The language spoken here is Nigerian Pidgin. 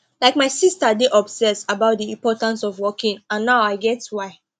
like my sister dey obsess about the importance of walking and now i get why